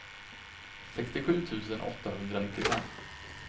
sextiosju tusen åttahundranittiofem